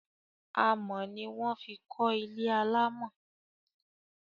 Amọ̀ ni wọ́n fi kọ́ ilé alámọ̀